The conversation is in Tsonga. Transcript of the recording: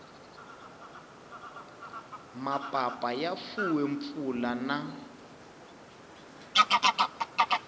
mapapa ya fuwe mpfula na